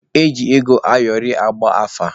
Eji ego ayọrị agba afa.